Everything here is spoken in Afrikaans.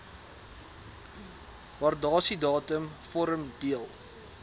waardasiedatum vorm deel